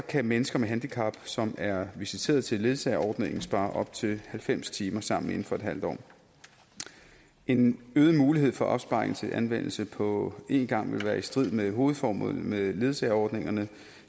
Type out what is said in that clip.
kan mennesker med handicap som er visiteret til ledsageordningen spare op til halvfems timer sammen inden for en halv år en øget mulighed for opsparing til anvendelse på en gang vil være i strid med hovedformålet med ledsageordningerne